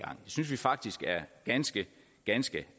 synes vi faktisk er ganske ganske